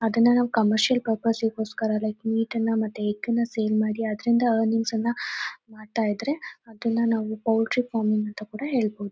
ಅದುನ್ನ ನಾವು commercial purpose ಗೋಸ್ಕರ ಲೈಕ್ ಮಿಟನ್ನ ಮತ್ತೆ ಎಗ್ ನ್ನ ಸೆಲ್ ಮಾಡಿ ಅದರಿಂದ ಅರ್ನಿಂಗ್ಸ್ ನ್ನ ಮಾಡ್ತಾ ಇದ್ರೆ ಅದುನ್ನ ನಾವು ಪೌಲ್ಟ್ರಿ ಫಾರ್ಮಿಂಗ್ ಅಂತ ಕೂಡ ಹೇಳಬೋ--.